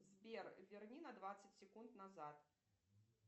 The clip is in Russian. сбер верни на двадцать секунд назад